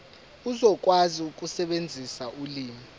uzokwazi ukusebenzisa ulimi